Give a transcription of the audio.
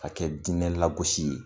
Ka kɛ dinɛ lagosi ye.